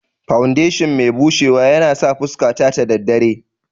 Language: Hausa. Fawundeshin mai bushewa yanasa fuska ta daddare